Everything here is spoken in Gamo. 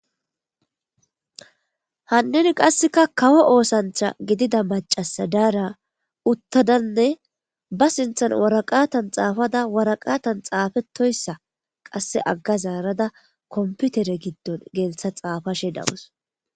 hannen qasseka kawo oosantha gidida macasa daara uttadanne ba sinthan waraqatan xaafada waraqatan xaafetoyssa qasse agga zaarada komputere giddon geeltha xaafashe dawus.